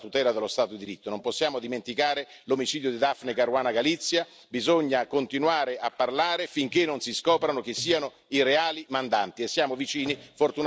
Non possiamo dimenticare l'omicidio di Daphne Caruana Galizia, bisogna continuare a parlare finché non si scoprano che siano i reali mandanti, e siamo vicini, fortunatamente, alla verità.